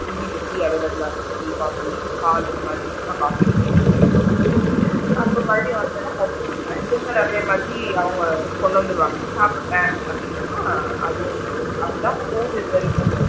Evening tea available லா இருக்கும் tea, coffee, பால் அந்த மாதிரி நான் காபி குடிப்பேன் குடிச்சிட்டு அப்பறம் மறுபடியும் வந்தேன்னா படிச்சிட்டு இருப்பேன் டின்னர் அதே மாதிரி அவுங்க கொண்டு வந்திடுவாங்க சாப்டுட்டேன் அப்படினா அதுவும் அப்படி தான் போகுது இது வரைக்கும்.